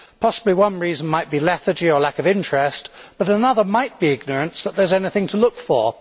Possibly one reason might be lethargy or lack of interest, but another might be ignorance that there is anything to look for.